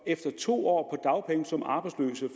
efter to år